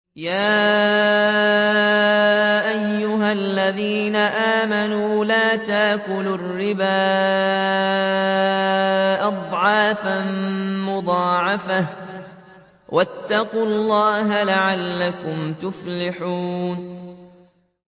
يَا أَيُّهَا الَّذِينَ آمَنُوا لَا تَأْكُلُوا الرِّبَا أَضْعَافًا مُّضَاعَفَةً ۖ وَاتَّقُوا اللَّهَ لَعَلَّكُمْ تُفْلِحُونَ